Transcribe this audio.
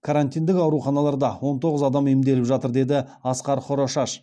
карантиндік ауруханаларда он тоғыз адам емделіп жатыр деді асқар хорошаш